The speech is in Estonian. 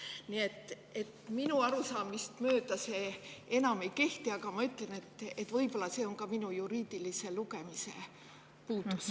Nii et minu arusaamist mööda see enam ei kehti, aga ma ütlen, et võib-olla on see ka minu juriidilise lugemisoskuse puudus.